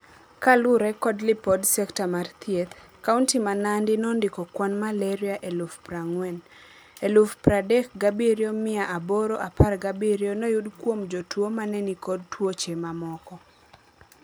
Kalure kod lipod sekta mar thieth, kaunti ma Nandi nondiko kwan malaria eluf prang'wen. Eluf pradek gabirio mia aboro apar gabirio noyudi kuom jotuo manenikod tuoche mamoko.